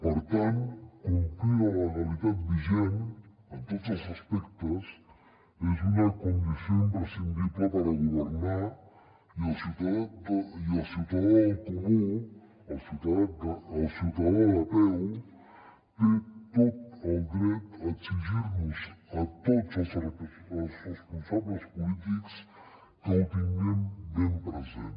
per tant complir la legalitat vigent en tots els aspectes és una condició imprescindible per a governar i el ciutadà del comú el ciutadà del carrer té tot el dret a exigir nos a tots els responsables polítics que ho tinguem ben present